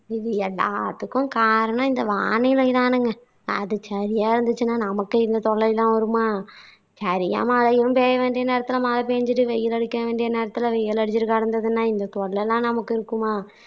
இது எல்லாத்துக்கும் காரணம் இந்த வானிலை தானுங்க. அது சரியா இருந்துச்சுன்னா நமக்கு இந்த தொல்லை எல்லாம் வருமா. சரியா மழையும் பெய்ய வேண்டிய நேரத்துல மழை பெஞ்சுட்டு வெயில் அசிக்க வேண்டிய நேரத்துல வெயில் அடிச்சுட்டு கிடந்துதுன்னா இந்த தொல்லை எல்லாம் நமக்கு இருக்குமா